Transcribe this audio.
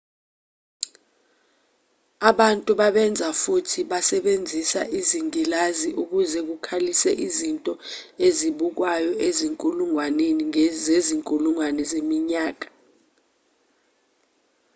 abantu babenza futhi basebenzisa izingilazi ukuze bakhulise izinto ezibukwayo izinkulungwane zezinkulungwane zeminyaka